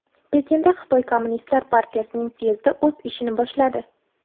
Pekinda Xitoy Kommunistlar partiyasining syezdi o‘z ishini boshladi.